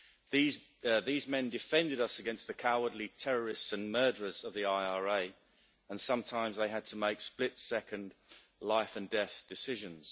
These men defended us against the cowardly terrorists and murderers of the IRA and sometimes they had to make split second life and death decisions.